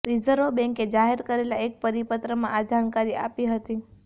reserve બેંકે જાહેર કરેલા એક પરિપત્રમાં આ જાણકારી આપી હતી